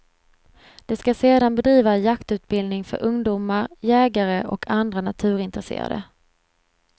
De ska sedan bedriva jaktutbildning för ungdomar, jägare och andra naturintresserade.